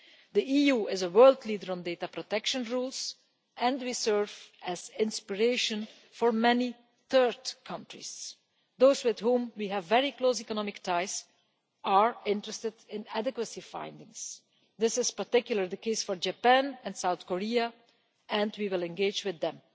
The EU is a world leader on data protection rules and we serve as an inspiration for many third countries. Those with whom we have very close economic ties are interested in adequacy findings this is particularly the case for Japan and South Korea and we will engage with